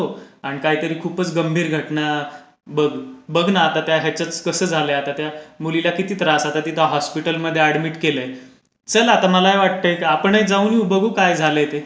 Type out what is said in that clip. आणि काहीतरी खूपच गंभीर घटना बघ न त्या आता ह्या चाच कसं झाला आहे आता मुलीला किती त्रास आता हॉस्पिटलमध्ये अॅडमिट केलाय. चल आता मलाही वाटतय आपणही जाऊन येऊ, बघून येऊ, काय झालंय ते.